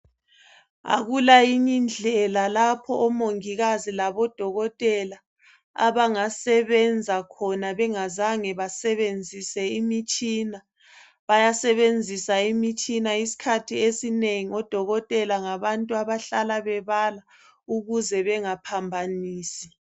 Akula yinye indlela lapho omongikazi labo dokotela abangasebenza khona bengazange besebenzise imitshina. Bayasebenzisa imitshina isikhathi esinengi odokotela ngabantu abahlala bebala ukuze bengaphambanisi.